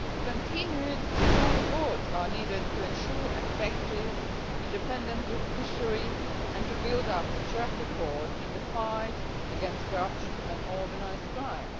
Continued strong efforts are needed to ensure an effective, independent judiciary and to build a track record in the fight against corruption and organised crime.